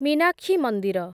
ମୀନାକ୍ଷୀ ମନ୍ଦିର